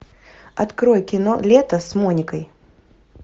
открой кино лето с моникой